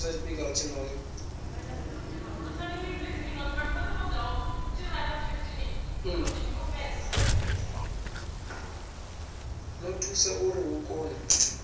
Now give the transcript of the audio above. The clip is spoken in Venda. ḓo thusa uri hu kone